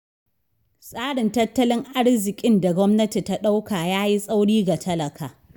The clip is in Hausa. Tsarin tattallin arziƙin da gwamnati ta ɗauka ya yi tsauri ga talaka.